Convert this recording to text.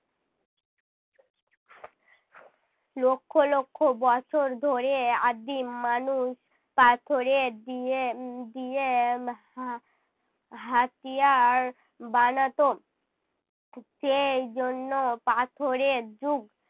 লক্ষ লক্ষ বছর ধরে আদিম মানুষ পাথরের দিয়ে উহ দিয়ে হা~ হাতিয়ার বানাতো। সেই জন্য পাথরের যুগ।